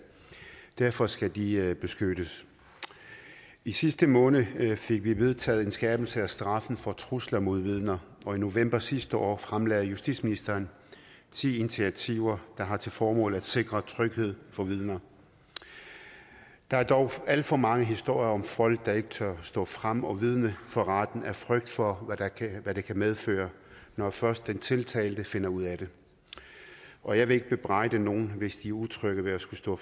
derfor skal de beskyttes i sidste måned fik vi vedtaget en skærpelse af straffen for trusler mod vidner og i november sidste år fremlagde justitsministeren ti initiativer der har til formål at sikre tryghed for vidner der er dog alt for mange historier om folk der ikke tør stå frem og vidne for retten af frygt for hvad det kan medføre når først den tiltalte finder ud af det og jeg vil ikke bebrejde nogen hvis de er utrygge ved at skulle stå